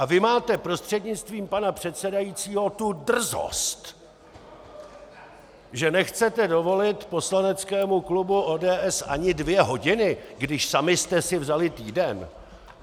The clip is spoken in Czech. A vy máte, prostřednictvím pana předsedajícího, tu drzost, že nechcete dovolit poslaneckému klubu ODS ani dvě hodiny, když sami jste si vzali týden?